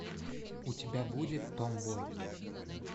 у тебя будет том бой